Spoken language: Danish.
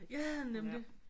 Ja nemlig